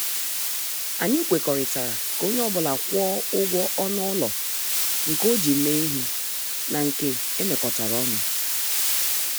Anyị kwekọrịtara ka onye ọ bụla kwụọ ụgwọ ọnụ ụlọ nke o ji mee ihe na nke emekotara ọnụ